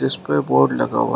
इसपे बोर्ड लगा हुआ है।